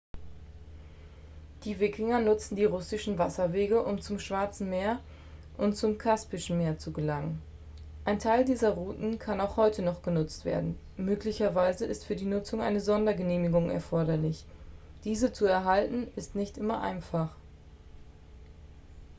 die wikinger nutzten die russischen wasserwege um zum schwarzen meer und zum kaspischen meer zu gelangen ein teil dieser routen kann auch heute noch genutzt werden möglicherweise ist für die nutzung eine sondergenehmigung erforderlich diese zu erhalten ist nicht immer einfach